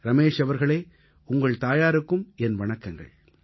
ரமேஷ் அவர்களே உங்கள் தாயாருக்கும் என் வணக்கங்கள்